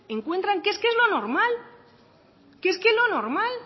encuentran que es lo normal que es lo normal